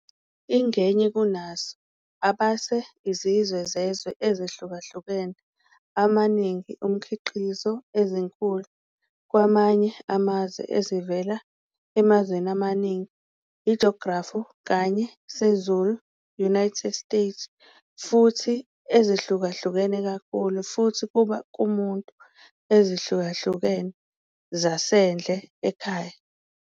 Ingenye kunazo Abase izizwe zezwe ezihlukahlukene amaningi, umkhiqizo ezinkulu kwamanye amazwe ezivela emazweni amaningi. I geography kanye sezulu-United States futhi ezihlukahlukene kakhulu, futhi kuba kumuntu ezihlukahlukene zasendle ekhaya.